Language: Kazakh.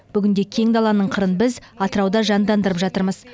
бүгінде кең даланың қырын біз атырауда жандандырып жатырмыз